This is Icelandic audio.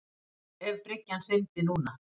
Ef bryggjan hryndi núna.